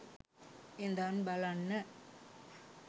ඉදන් බලන්න